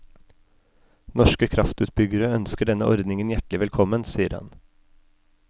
Norske kraftutbyggere ønsker denne ordningen hjertelig velkommen, sier han.